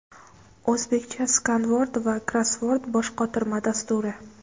"O‘zbekcha skanvord va krossvord" boshqotirma dasturi.